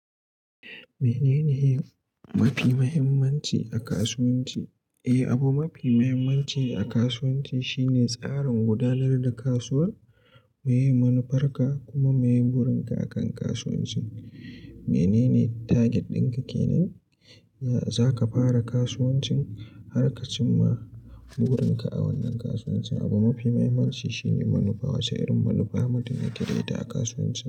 Menene mafi mahimmanci a kasuwanci? Eh, abu mafi mahimmanci a kasuwanci shine tsarin gudanar da kasuwar, meye manufarka kuma meye burinka akan kasuwancin. Menene target ɗinka kenan, za ka fara kasuwancin har ka cimma burinka a wannan kasuwancin. Abu mafi mahimmanci shine manufa, wace irin manufa mutum yake da ita a kasuwancin.